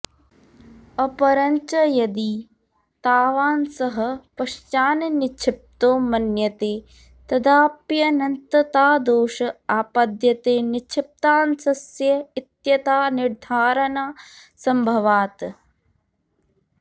अपरञ्च यदि तावानंशः पश्चान्निक्षिप्तो मन्यते तदाप्यनन्ततादोष आपद्यते निक्षिप्तांशस्य इयत्तानिर्धारणासम्भवात्